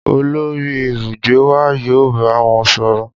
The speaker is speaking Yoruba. Olori ibugbe wa yoo ba wọn sọrọ.